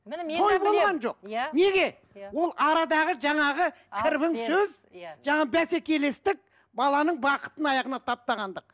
той болған жоқ неге ол арадағы жаңағы кірбің сөз иә бәсекелестік баланың бақытын аяғына таптағандық